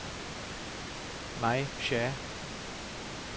May Shah